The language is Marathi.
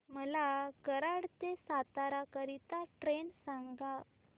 मला कराड ते सातारा करीता ट्रेन सांगा